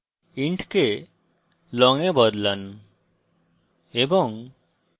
int কে long এ বদলান এবং